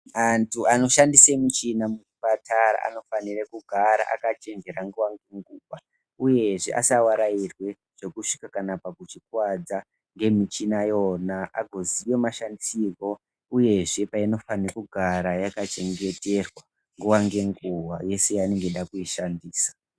Antu anoshandisa michina muzvipatara anofanire kugara akachenjera nguva ngenguva, uyezve asavarairwe kusvika kana pakuzvikuvadza ngemichina yona azoziye mashandisirwo, uyezve painofanirwa kugara yakachengeterwa nguva ngenguva yese yaanenge echida kuishandisa.